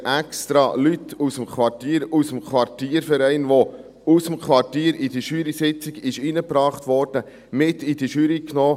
Wir haben extra Leute aus dem Quartier, aus dem Quartierverein, die aus dem Quartier in die Jurysitzung hereingebracht wurden, mit in diese Jury genommen.